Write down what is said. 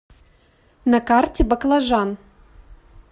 на карте баклажан